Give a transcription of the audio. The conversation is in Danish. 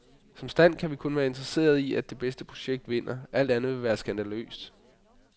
Som stand kan vi kun være interesserede i, at det bedste projekt vinder, alt andet vil være skandaløst.